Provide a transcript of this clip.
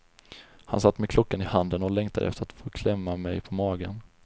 Han satt med klockan i handen och längtade efter att få klämma mig på magen.